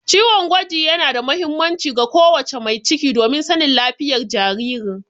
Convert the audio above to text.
Ciwon gwaji yana da muhimmanci ga ko wace mai ciki domin sanin lafiyar jaririn.